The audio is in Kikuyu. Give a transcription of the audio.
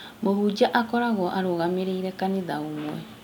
Mũhunjia akoragwo arũgamĩrĩire kanitha ũmwe